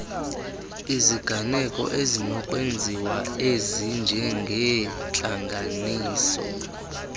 iziganeko ezinokwenziwa ezinjengeentlanganiso